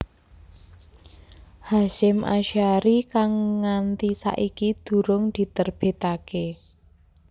Hasyim Ashari kang nganti saiki durung diterbitake